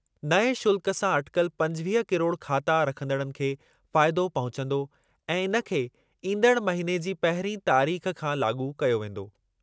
नएं शुल्कु सां अटिकल पंजवीह किरोड़ ख़ाता रखंदड़नि खे फ़ाइदो पहुचंदो ऐं इन खे ईंदड़ महिने जी पहिरीं तारीख़ खां लाॻू कयो वेंदो।